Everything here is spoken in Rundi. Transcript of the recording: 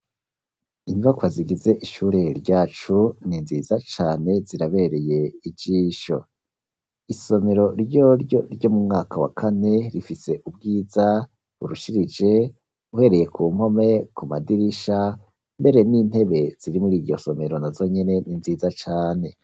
Inyubakwa zigize ishure ryacu ni nziza cane zirabereye ijisho, isomero ryoryo ryo mu mwaka wa kane rifise ubwiza burushirije uhereye ku mpome, ku madirisha, mbere n'intebe ziri muri iryo somero nazo nyene ni nziza cane.